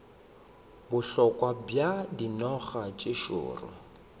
bohloko bja dinoga tše šoro